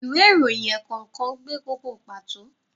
Ìwé ìròyìn ẹ̀ẹ̀kọ̀kan gbé kókó pàtó.